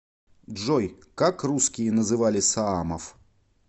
джой как русские называли саамов